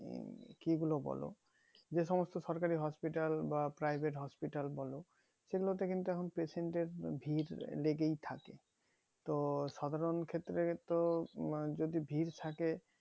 কি গুলো বলো যে সমস্ত সরকারি hospital বা privet hospital বলো সেগুলোতে এখন patient এর ভিড় লেগেই থাকে তো সাধারণ ক্ষেত্রে তো তোমার যদি ভিড় থাকে